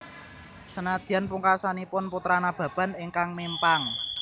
Senadyan pungkasanipun Putra Nababan ingkang mimpang